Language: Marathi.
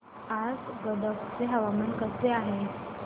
आज गदग चे हवामान कसे आहे